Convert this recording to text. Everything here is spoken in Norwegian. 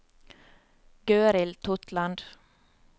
Gøril Totland